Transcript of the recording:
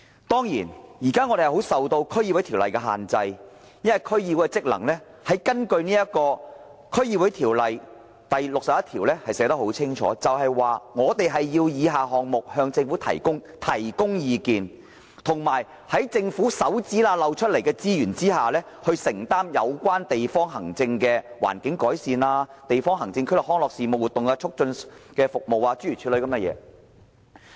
當然，現時區議員是受《區議會條例》限制的，因為區議會的職能已在《區議會條例》第61條清楚列明，指出我們要就若干項目向政府提供意見，並以政府指縫間漏出的撥款，承擔有關地方行政區內的環境改善事務、康樂活動促進事務等，諸如此類。